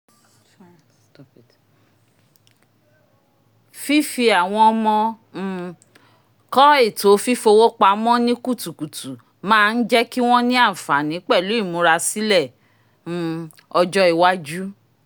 fífi àwọn ọmọ um kọ́ ètò fífowó pamọ́ ní kutukutu máa ń jẹ́ kí wọ́n ní àǹfààní pẹ̀lú ìmúrasílẹ̀ um ọjọ́ iwájú